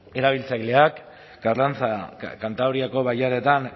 erabiltzaileak karrantza kantabriako bailaretan